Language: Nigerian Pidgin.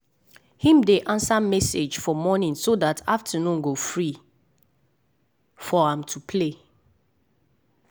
him dey answer message for morning so dat afternoon go free for am to play.